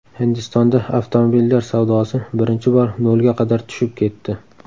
Hindistonda avtomobillar savdosi birinchi bor nolga qadar tushib ketdi.